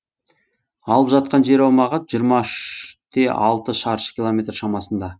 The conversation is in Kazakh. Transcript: алып жатқан жер аумағы жиырма үш те алты шаршы километр шамасында